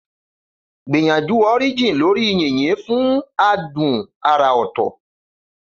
Gbìyànjú Orijin lórí yìnyín fún adùn àrà ọ̀tọ̀.